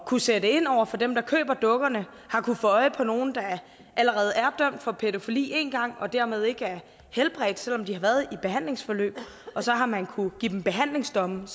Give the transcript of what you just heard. kunne sætte ind over for dem der køber dukkerne har kunnet få øje på nogen der allerede er dømt for pædofili én gang og dermed ikke er helbredt selv om de har været i behandlingsforløb så har man kunnet give dem behandlingsdomme